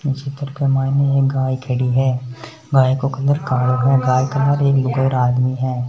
इश चित्र में एक गाय खड़ी है गाय को कलर कालो है कण एक लुगाई और आदमी है।